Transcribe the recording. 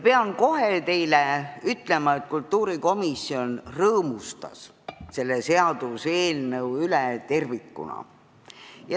Pean teile kohe ütlema, et kultuurikomisjon rõõmustas selle seaduseelnõu üle tervikuna.